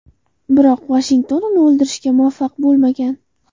Biroq Vashington uni o‘ldirishga muvaffaq bo‘lmagan.